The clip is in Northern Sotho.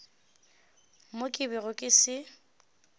mo ke bego ke se